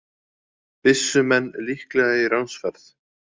Byssumenn líklega í ránsferð